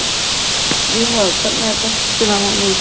Drífa, hvernig er dagskráin í dag?